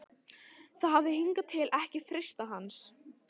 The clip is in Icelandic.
Það hafði hingað til ekki freistað hans.